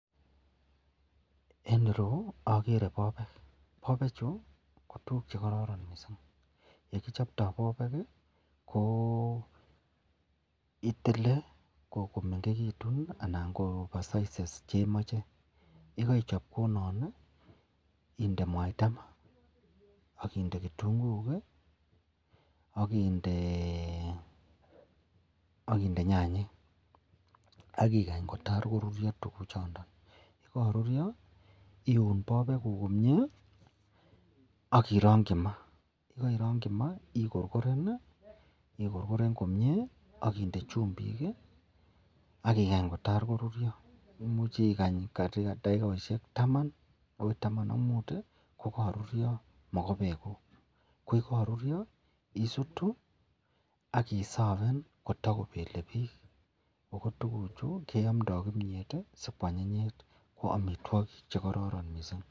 En ireyu agere bobek akochechu ko tuguk chekororon kabisa akbyekichoptoi bobek ko tile komengekitun ana kosamisit nemache akbyegaichop kounon inde mwaita ma akinde kitunguik akinde nyanyik akikany kotar korurio tuguk choton ak yegagirurio koiu bobek komie akirangi ma ayekairangi ma ikorgiren komie akinde chembik akikany kotar korurio akumuch ikany dakikosek Taman anan kotaman ak mut kokakorurio bobek koyakarurio isutu akisaven kotakobelebik akotuguk Chu keyamdae kimyet kwanyinyit ako amitwagik chekororon mising.